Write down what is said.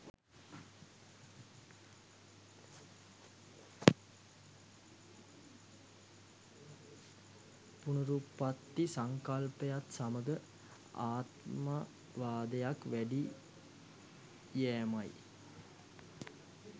පුනරුත්පත්ති සංකල්පයත් සමඟ ආත්මවාදයක් වැඩි යෑමයි.